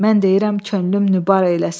Mən deyirəm könlüm nübar eyləsin.